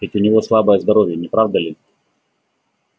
ведь у него слабое здоровье не правда ли